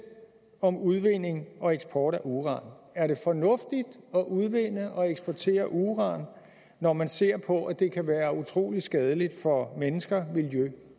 om udvinding og eksport af uran er det fornuftigt at udvinde og eksportere uran når man ser på at det kan være utrolig skadeligt for mennesker miljø